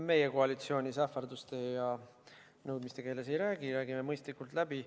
Meie koalitsioonis ähvarduste ja nõudmiste keeles ei räägi, me räägime mõistlikult läbi.